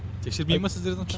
тексермей ма сіздерді онша